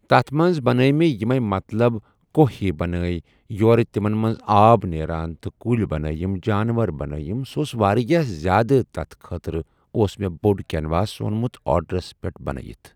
تَتھ منٛز بَنایے مےٚ یِمَے مطلب کوہ ہِوۍ بَنایے یورٕ تِمَن منٛز آب نیران تہٕ کُلۍ بَنایم جانوَر بَنایم سُہ ٲس واریاہ زیادٕ تَتھ خٲطرٕ اوس مےٚ بوٚڑ کٮ۪نواس اوٚنمُت آڑرَس پٮ۪ٹھ بَنٲیِتھ ۔